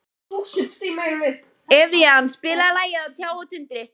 Evían, spilaðu lagið „Á tjá og tundri“.